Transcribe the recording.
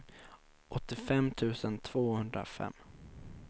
åttiofem tusen tvåhundrafem